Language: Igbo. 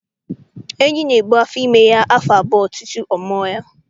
Enyi n'ebu afọ ime ya afọ abụọ tutu ọ mua ya.